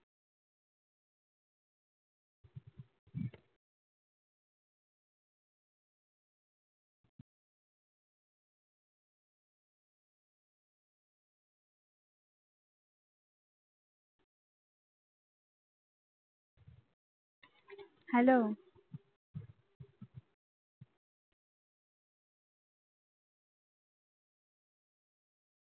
hello